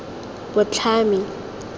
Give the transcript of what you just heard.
botlhami